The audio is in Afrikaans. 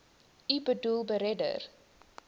u boedel beredder